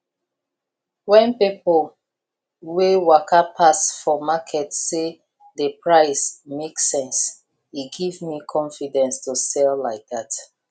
when people wey waka pass for market say the price make sense e give me confidence to sell like that